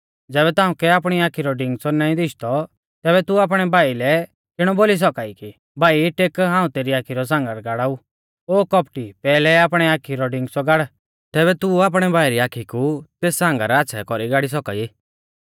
ज़ैबै तांउकै आपणी आखी रौ डिगंच़ौ नाईं दीशदौ तैबै तू आपणै भाई लै किणौ बोली सौका ई कि भाई टेक हाऊं तेरी आखी रौ सांगर गाड़ाऊ ओ कौपटी पैहलै आपणी आखी रौ डिगंचौ गाड़ तैबै तू आपणै भाई री आखी कु तेस सांगर आच़्छ़ै कौरी गाड़ी सौका ई